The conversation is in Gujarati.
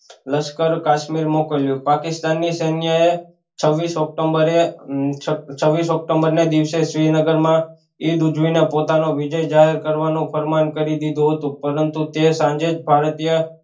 લશ્કર કાશ્મીર મોકલ્યું પાકિસ્તાન ની સેન્ય એ છવીશ ઓકટોમબેરે છવીશ ઓક્ટોમ્બર ને દિવસે શ્રીનગર માં ઈદ ઉજવી ને પોતાનો વિજય જાહેર કરવાનું ફરમાન કરી દીધું હતું પરંતુ તે સાંજે જ ભારતીય